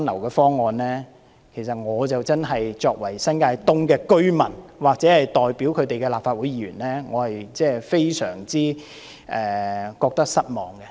對我無論作為新界東的居民，或代表他們的立法會議員，對此都感到非常失望。